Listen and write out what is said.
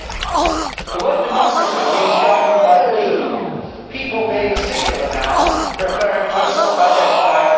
The word democracy' means government by the people people' being a singular noun referring to a self identifying whole.